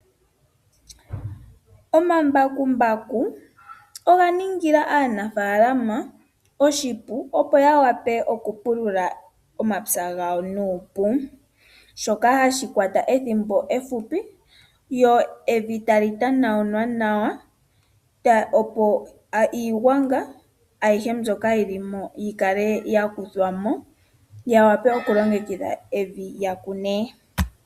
Omambakumbaku oga ningila aanafalama oshipu, opo yawape oku pulula omapya gawo nuupu shoka hashi kwata ethimbo efupi. Evi tali tanawunwa nawa opo iigwanga ayihe mboka yili yi kale yakuthwamo ya wape oku longekidha evi ya kune.